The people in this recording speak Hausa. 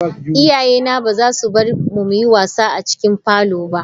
Iyayena ba za su bar mu mu yi wasa a cikin parlour ba.